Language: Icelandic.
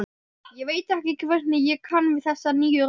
Ég veit ekki hvernig ég kann við þessa nýju rödd.